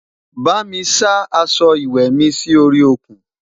bá mí sá aṣọ ìwé mí Si orí òkun